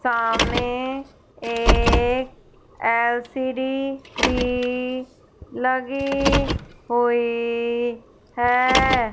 सामने एक एल_सी_डी भी लगी हुई है।